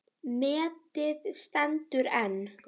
Metið stendur enn.